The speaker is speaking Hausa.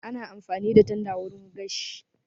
Ana amfani da tanda wurin gashi